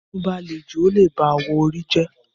Bí irun bá le jù ó lè ba awọ orí jẹ́